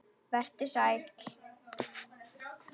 Vertu sæll.